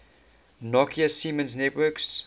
nokia siemens networks